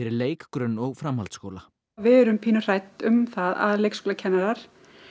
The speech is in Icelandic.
leik grunn og framhaldsskóla við erum pínu hrædd um það að leikskólakennarar